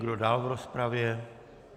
Kdo dál v rozpravě?